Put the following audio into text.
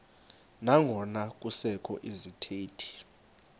nangona kusekho izithethi